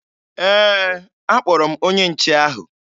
Ee, akpọrọ m onye nche ahụ